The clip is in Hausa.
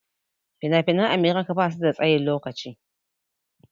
Fina-finan america basu da tsayin lokaci.